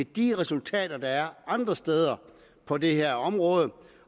de resultater der er andre steder på det her område